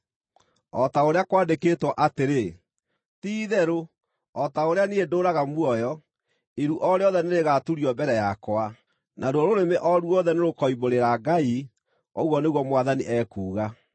O ta ũrĩa kwandĩkĩtwo atĩrĩ: “ ‘Ti-itherũ, o ta ũrĩa niĩ ndũũraga muoyo, iru o rĩothe nĩrĩgaturio mbere yakwa; naruo rũrĩmĩ o ruothe nĩrũkoimbũrĩra Ngai,’ ũguo nĩguo Mwathani ekuuga.”